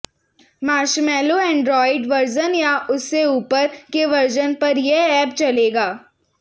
Marshmallow Android version या उससे ऊपर के वर्जन पर यह एप चलेगा